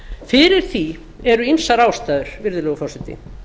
fyrir því eru ýmsar ástæður virðulegi forseti